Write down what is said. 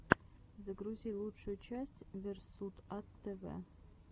загрузи лучшую часть версутатэвэ